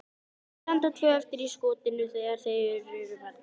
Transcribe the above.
Þau standa tvö eftir í skotinu þegar þeir eru farnir.